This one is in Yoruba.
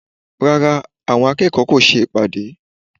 Rárá, àwọn akẹ́kọ̀ọ́ kò ṣe ìpàdé